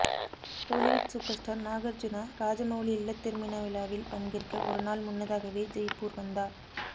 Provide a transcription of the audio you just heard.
Tollywood superstar Nagarjuna Rajamouli இல்லத் திருமண விழாவில் பங்கேற்க ஒரு நாள் முன்னதாகவே ஜெய்ப்பூர் வந்தார்